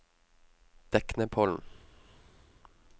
Deknepollen